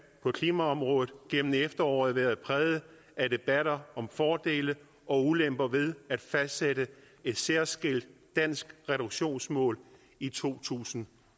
på klimaområdet igennem efteråret været præget af debatter om fordele og ulemper ved at fastsætte et særskilt dansk reduktionsmål i to tusind